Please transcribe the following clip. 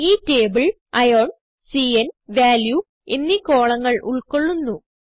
ഈ table ion cന് value എന്നീ columnങ്ങൾ ഉൾകൊള്ളുന്നു